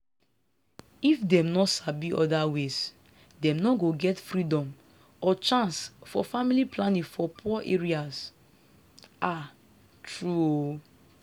if dem no sabi other ways dem no go get freedom or chance for family planning for poor areas. ah true o